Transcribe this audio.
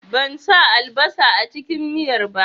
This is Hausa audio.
Ban sa albasa a cikin miyar ba